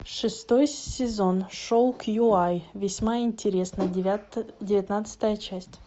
шестой сезон шоу кью ай весьма интересно девятнадцатая часть